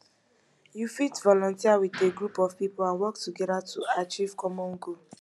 you fit volunteer with a group of people and work together to achieve common goal